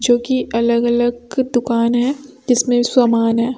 जो कि अलग अलग दुकान है जिसमें सामान है।